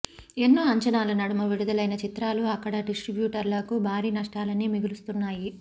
ఎన్నో అంచనాల నడుమ విడుదలైన చిత్రాలు అక్కడ డిస్ట్రిబ్యూటర్లకు భారీ నష్టాలనే మిగులుస్తున్నాయి